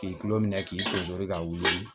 K'i tulo minɛ k'i senjoni k'a wuli